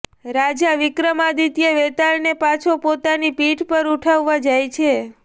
રાજા વિક્રમાદિત્ય વેતાળને પાછો પોતાની પીઠ પર ઉઠાવવા જાય છે